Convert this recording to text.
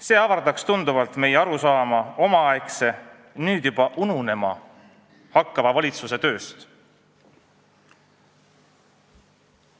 See avardaks tunduvalt meie arusaama omaaegse, nüüd juba ununema hakkava valitsuse tööst.